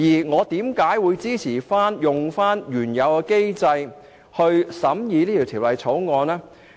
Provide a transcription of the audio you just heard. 我為何支持按原有安排審議本《條例草案》呢？